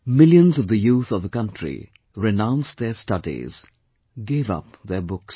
Millions of the youth of the country renounced their studies, gave up their books